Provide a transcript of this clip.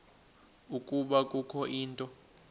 ukuba kukho into